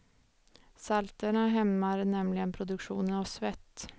Salterna hämmar nämligen produktionen av svett.